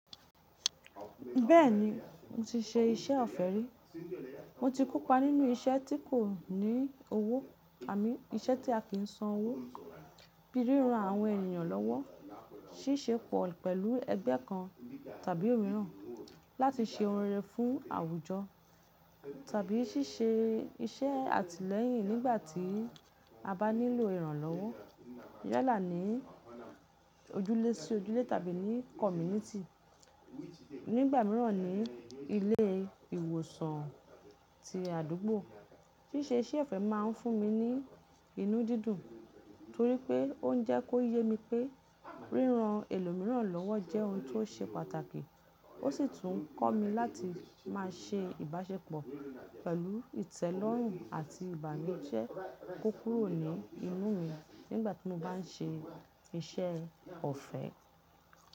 Bẹ́ẹ̀ni, mo ti ṣe iṣẹ́ ọ̀fẹ́ rí. Mo ti kópa nínú iṣẹ́ tí kò ní owó, àni, iṣẹ́ tí a kì í san owó, bí ríran àwọn ènìyàn lọ́wọ́, ṣíṣe pọ̀ pẹ̀lú ẹgbẹ́ kan tàbí òmíràn láti ṣe oun rẹ̀rè fún àwùjọ tàbí ṣíṣe iṣẹ́ àtìlẹ́yìn nígbà tí a bá nílò ìrànlọ́wọ́, yálà ní ojúlé sí ojúlé tàbí ní kọ́mínìtì, nígbà míràn ní ilé ìwòsàn ti àdúgbò. Ṣíṣe iṣẹ́ ọ̀fẹ́ máa ń fún mi ní inú dídùn torí pé ó ń jẹ́ kó yé mi pé ríran ẹlòmíràn lọ́wọ́ jẹ́ ohun tó ṣe pàtàkì, ó sì tún ń kọ́ mi láti má ṣe ìbáṣepọ̀ pẹ̀lú ìtẹ́lọ́rùn àti ìbánu jẹ kó kúrò ní inú mi nígbà tí mo bá n ṣe iṣẹ́ ọ̀fẹ́.